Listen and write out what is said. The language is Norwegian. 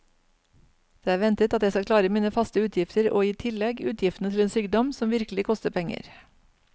Det er ventet at jeg skal klare mine faste utgifter og i tillegg utgiftene til en sykdom som virkelig koster penger.